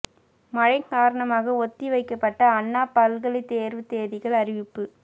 மழை காரணமாக ஒத்தி வைக்கப்பட்ட அண்ணா பல்கலை தேர்வு தேதிகள் அறிவிப்பு